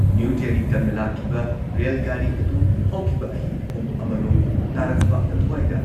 new Delhi ꯇꯝꯅ ꯂꯥꯛꯈꯤꯕ rail ꯒꯥꯔꯤ ꯑꯗꯨ ꯍꯧꯈꯤꯕ ꯑꯍꯤꯡ ꯄꯨꯡ ꯑꯃꯔꯣꯝ ꯇꯥꯔꯛꯄ ꯑꯗꯨꯋꯥꯏꯗ